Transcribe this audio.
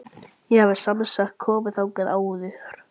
Ég hafði semsagt komið þangað áður.